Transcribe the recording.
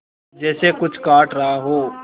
जैसे कुछ काट रहा हो